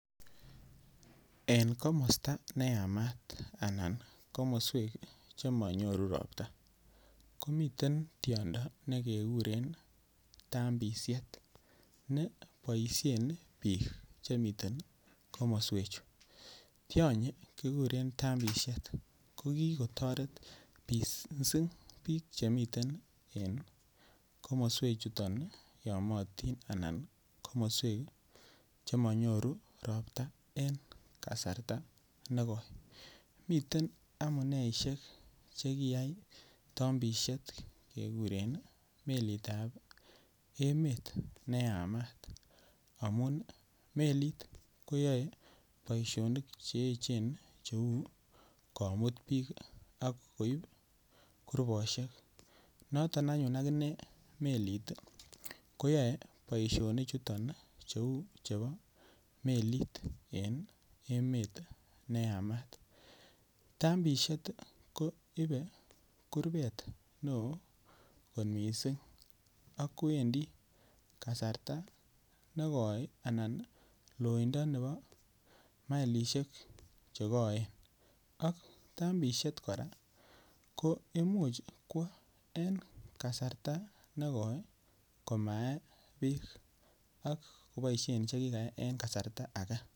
En komosta ne Yamat anan komoswek Che monyoru Ropta ko miten tiondo ne keguren tambisiet ne boisien bik Che mi komoswechu tionyi kikuren tambisiet ko ki kotoret mising bik Che miten en komoswechuto yomyotin anan komoswek Che monyoru Ropta en kasarta nekoi miten amuneisiek Che kiyai tambisiet kekuren melitab emet ne Yamat amun melit koyoe boisionik Che echen cheu komut bik ak koib kurbosiek noton anyuun akine melit ko yoe boisinichuto kou chebo melit en emet ne Yamat tambisiet koibe kurbet neo kot mising ak kowendi loindo nebo maelisiek Che koen ko Imuch kwo en. Kasarta negoi komae Beek ak koboisien Che kikae en kasarta ake